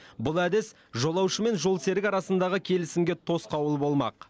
бұл әдіс жолаушы мен жолсерік арасындағы келісімге тосқауыл болмақ